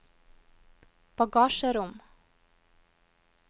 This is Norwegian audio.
bagasjerom